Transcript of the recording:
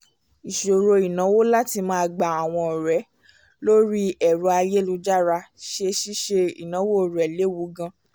ìṣòro ináwó láti máa bá àwọn ọ̀rẹ́ lórí ẹ̀rọ ayélujára ṣe ṣíṣe ináwó rẹ lewu gan